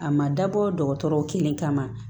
A ma dabɔ dɔgɔtɔrɔ kelen kama